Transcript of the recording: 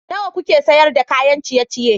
Nawa kuke sayar da kayan ciye-ciye?